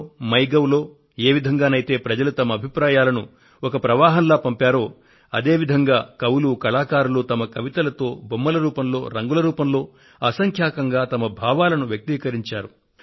NarendraModiApp లో MyGov లో ఏ విధంగానైతే ప్రజలు వారి అభిప్రాయాలను ఒక ప్రవాహంలా పంపారో అదే విధంగా కవులు కళాకారులు వారి కవితలు బొమ్మలు రంగుల రూపాలలో అసంఖ్యాకంగా వారి భావాలను వ్యక్తీకరించారు